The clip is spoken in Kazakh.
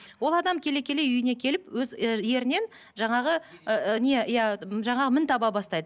ол адам келе келе үйіне келіп өз і ерінен жаңағы ііі не иә жаңағы мін таба бастайды